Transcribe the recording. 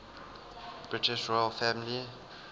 british royal family